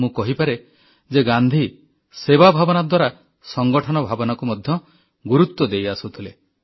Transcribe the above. ମୁଁ କହିପାରେ ଯେ ଗାନ୍ଧୀ ସେବା ଭାବନା ଦ୍ୱାରା ସଂଗଠନ ଭାବନାକୁ ମଧ୍ୟ ଗୁରୁତ୍ୱ ଦେଇ ଆସୁଥିଲେ